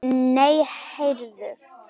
Nei, heyrðu!